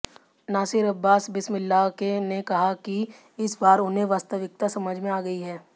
नासिर अब्बास बिस्मिल्लाह ने कहा कि इस बार उन्हें वास्तविकता समझ में आ गई है